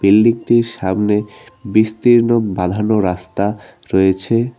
বিল্ডিংটির সামনে বিস্তীর্ণ বাঁধানো রাস্তা রয়েছে।